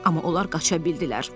Amma onlar qaça bildilər.